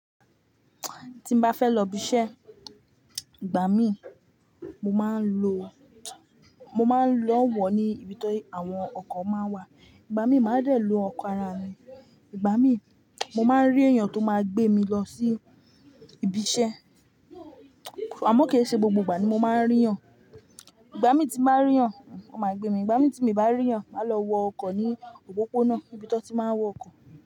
Tí n bá fẹ́ lọ ibi iṣẹ́, ìgbà mí mo máa ń lo, mo máa ń lọ wọ̀ ní ibi tó àwọn ọkọ̀ máa ń wà. Ìgbà mí máa dẹ̀ lo ọkọ̀ ara mi, ìgbà mí mo máa ń rí èèyàn tó máa gbé mi lọ sí ibi iṣẹ́. Àmọ́ kì í ṣe gbogbo ìgbà ni mo máa ń rí yàn. Ìgbà mí tí n bá rí yàn, ó máa gbé mi, ìgbà mí tí èmi bá rí yàn, máa lọ wọ ọkọ̀ ní òpópónà, ibi tó ti máa ń wọ ọkọ̀